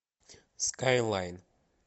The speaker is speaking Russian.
скайлайн